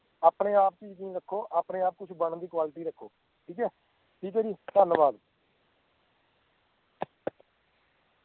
ਆਪਣੇ ਆਪ ਚ ਯਕੀਨ ਰੱਖੋ ਆਪਣੇ ਆਪ ਕੁੱਛ ਬਣਨ ਦੀ quality ਰੱਖੋ ਠੀਕ ਐ, ਠੀਕ ਐ ਜੀ ਧੰਨਵਾਦ